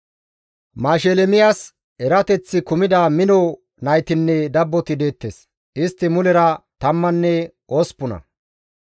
Mashelemiyas erateththi kumida mino naytinne dabboti deettes; istti mulera tammanne osppuna.